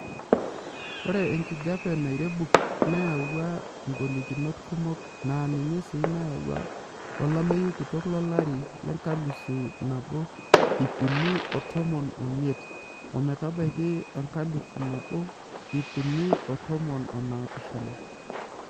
Ore enkijiepe nairebuk neyauwua ngolikinot kumok naa ninye sii nayawua olameyu kitok lolari lenkalisu nabo iip uni oo tomon omiet ometabaiki enkalifu nabo iip uni oo tomon oo naapishana .[long sentence]